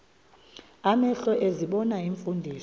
amehlo ezibona iimfundiso